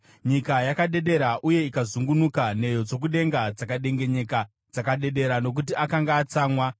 “Nyika yakadedera uye ikazungunuka, nheyo dzokudenga dzakadengenyeka; dzakadedera nokuti akanga atsamwa.